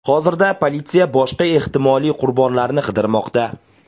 Hozirda politsiya boshqa ehtimoliy qurbonlarni qidirmoqda.